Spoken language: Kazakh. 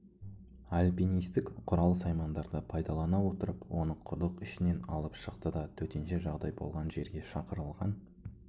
альпинистік құрал-саймандарды пайдалана отырып оны құдық ішінен алып шықты да төтенше жағдай болған жерге шақырылған